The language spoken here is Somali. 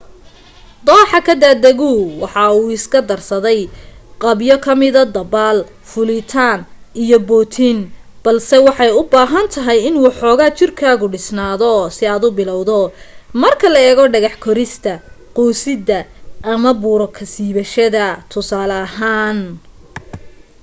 dooxo ka daadagu waxa uu iska darsaday qaybo ka mida dabbaal fuulitaan iyo bootin -- balse waxay u baahan tahay in waxooga jirkaagu dhisnaado si aad u bilowdo marka loo eego dhagax korista quusidda ama buuro ka siibashada tusaale ahaan